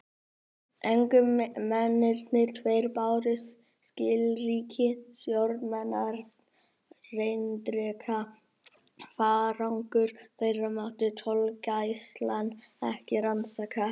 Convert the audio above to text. Ungu mennirnir tveir báru skilríki stjórnarerindreka: farangur þeirra mátti tollgæslan ekki rannsaka.